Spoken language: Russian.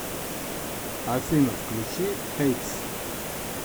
афина включи хэйз